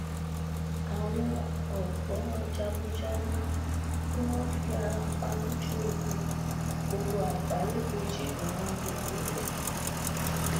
àwọn ògbójagunjagun tí wọn fi ara pa lójú ogun gbogbo àgbáyé kejì ni wọn bẹrẹ rẹ